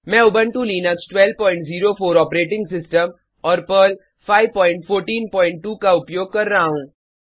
मैं Ubuntu Linux 1204 operating system और Perl 5142 का उपयोग कर रहा हूँ